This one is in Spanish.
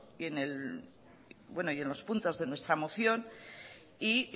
y en los puntos de nuestra moción y